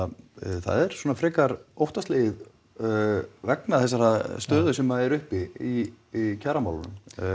það er frekar óttaslegið vegna þessarar stöðu sem er uppi í kjaramálum